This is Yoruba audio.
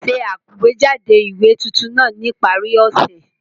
Ṣe àgbéjáde ìwé tuntun náà ní ìparí ọ̀sẹ̀!